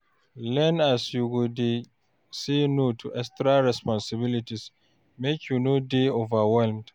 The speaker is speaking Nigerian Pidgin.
Learn as you go dey say no to extra responsibilities, make you no dey overwhelmed